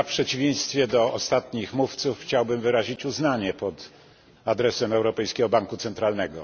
W przeciwieństwie do ostatnich mówców chciałbym wyrazić uznanie pod adresem Europejskiego Banku Centralnego.